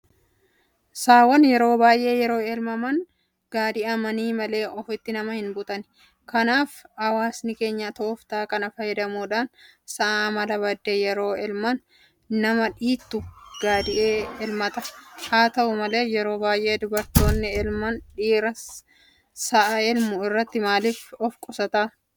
Saawwan baay'een yeroo elmaman gaadi'amanii malee ofitti nama hinbutani. Kanaaf hawaasni keenya tooftaa kana fayyadamuudhaan sa'a amala baddee yeroo elman nama dhiittu gaadi'ee elmata. Haata'u malee yeroo baay'ee dubartootatu elma. Dhiirri sa'a elmuu irraa maaliif ofqusata?